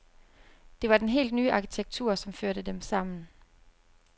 Det var den helt nye arkitektur, som førte dem sammen.